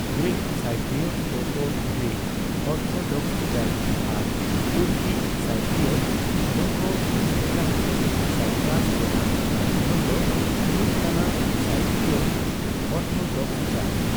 Greek Cypriot ᱫᱚ ᱠᱚ Greek Orthodox church ᱟᱨ ᱛᱩᱨᱠᱤ ᱥᱟᱭᱯᱨᱤᱭᱚᱴ ᱫᱚ ᱠᱚ ᱢᱩᱥᱞᱟᱹ ᱠᱟᱱᱟ᱾ ᱥᱟᱭᱯᱨᱟᱥ ᱨᱮᱱᱟᱜ ᱨᱟᱡᱽ ᱫᱷᱚᱨᱚᱢ ᱫᱚ ᱦᱩᱭᱩᱜ ᱠᱟᱱᱟ ᱥᱟᱭᱯᱨᱤᱭᱚᱴ ᱚᱨᱛᱷᱚᱰᱚᱠᱥ ᱪᱟᱨᱪ᱾